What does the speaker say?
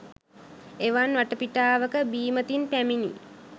එවන් වටපිටාවක බීමතින් පැමිණි